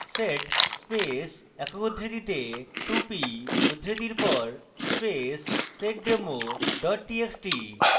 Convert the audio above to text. sed space একক উদ্ধৃতিতে 2p উদ্ধৃতির পর space seddemo txt txt